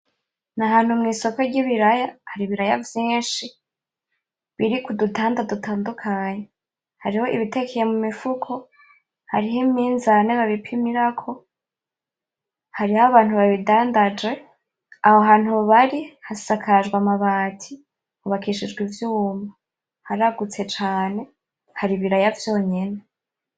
N,ahantu mwisoko ryibiraya hari ibiraya vyinshi biri kudutanda dutandukanye hariyo ibitekeye mumufuko hariyo iminzani babipimirako , hariyo abantu babidandanje aho hantu bari hasakajwe amabati hubakishijwe ivyuma haragutse cane hari ibiraya vyonyene .